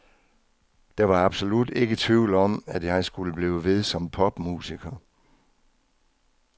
Der var absolut ikke tvivl om, at jeg skulle blive ved som popmusiker.